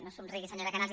no somrigui senyora canals